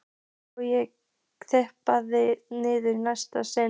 Og ég lyppast niður í næsta stiga.